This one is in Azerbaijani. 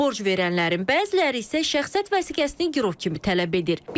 Borc verənlərin bəziləri isə şəxsiyyət vəsiqəsini girov kimi tələb edir.